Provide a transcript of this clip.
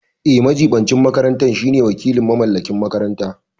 Eh, majiɓincin makaranta shine wakilin mamallakin makaranta.